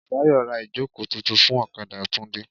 Bùsáyọ̀ ra ìjókòó tuntun fún ọ̀kadà Tunde.